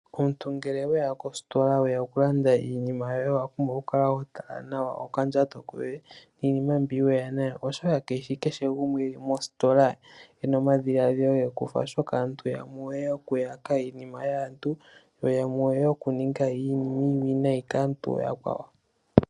Omuntu ngele weya kositola weya okulande iinima yoye owapumbwa okukala hotala nawa okandjato koye niinima mbyoka weya nayo oshoka kashishi kehe gumwe eli mositola ena omadhiladhilo gekufa oshoka aantu yamwe oyeya okuyaka iinima yaantu yo yamwe oyeya kuninga iinima iiwinayi kaantu akwawo.